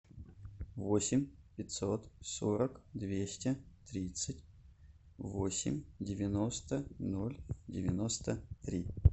восемь пятьсот сорок двести тридцать восемь девяносто ноль девяносто три